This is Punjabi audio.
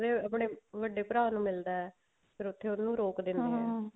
ਆਪਣੇ ਵੱਡੇ ਭਰਾ ਨੂੰ ਮਿਲਦਾ ਫ਼ੇਰ ਉੱਥੇ ਉਹਨੂੰ ਦਿੰਦੇ ਆ